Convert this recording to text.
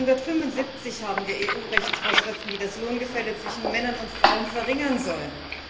Seit 1975 haben wir EU Rechtsvorschriften, die das Lohngefälle zwischen Männern und Frauen verringern sollen.